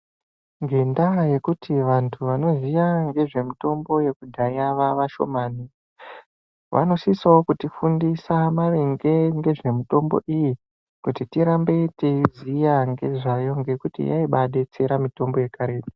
Ngendaa yekuti vantu vanoziya ngezvemutombo yekudhaya vaavashomami vanosisawo kutifundiisa maringe ngezvemitombo iyi kuti tirambe teiziya ngezvayo ngekuti yaibadetsera mitombo yakaretu.